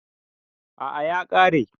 A'a ya kare